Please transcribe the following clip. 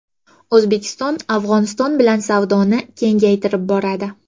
O‘zbekiston Afg‘oniston bilan savdoni kengaytirib boradi.